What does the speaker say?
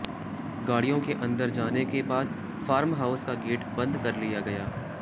गाडि़यों के अंदर जाने के बाद फार्म हाउस का गेट बंद कर लिया गया